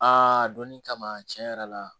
donni kama tiɲɛ yɛrɛ la